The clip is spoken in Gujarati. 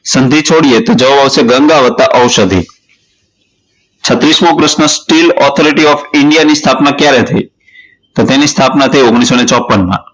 સંધી છોડીયે તો જવાબ આવશે ગંગા વત્તા ઔષધી છત્રીસ મો પ્રશ્ન steel authority of india ની સ્થાપના ક્યારે થઇ તો તેની સ્થાપના થઇ ઓગણીસો ને ચોપ્પન માં